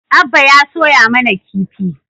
Abba ya soya mana kifi